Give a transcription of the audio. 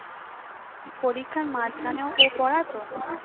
পরীক্ষার মাঝখানেও ও পড়াতো